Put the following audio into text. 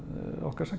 okkar